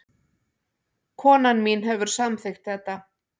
Konan mín hefur samþykkt þetta